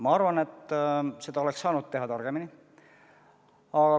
Ma arvan, et seda kõike oleks saanud teha targemini.